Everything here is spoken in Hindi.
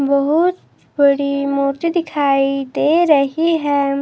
बहुत बड़ी मूर्ति दिखाई दे रही है।